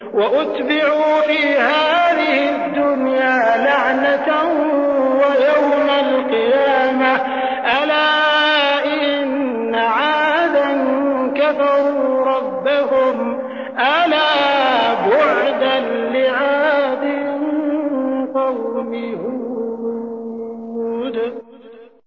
وَأُتْبِعُوا فِي هَٰذِهِ الدُّنْيَا لَعْنَةً وَيَوْمَ الْقِيَامَةِ ۗ أَلَا إِنَّ عَادًا كَفَرُوا رَبَّهُمْ ۗ أَلَا بُعْدًا لِّعَادٍ قَوْمِ هُودٍ